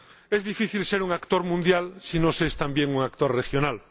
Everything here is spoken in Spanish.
Es difícil ser un actor mundial si no se es, también, un actor regional.